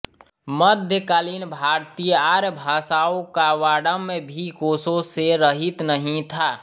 मध्यकालीन भारतीय आर्यभाषाओं का वाङ्मय भी कोशों से रहित नहीं था